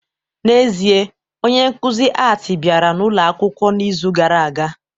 N'ezie, onye nkuzi Art bịara ụlọ akwụkwọ n'izu gara aga